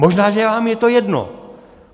Možná, že vám je to jedno.